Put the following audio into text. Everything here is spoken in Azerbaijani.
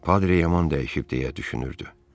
Padre yaman dəyişib deyə düşünürdü.